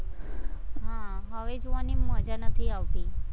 હા હવે જોવાની મજા નથી આવતી.